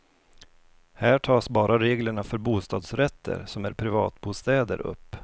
Här tas bara reglerna för bostadsrätter som är privatbostäder upp.